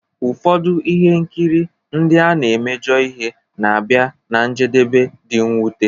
Ụfọdụ ihe nkiri ndị na-emejọ ihe na-abịa ná njedebe dị mwute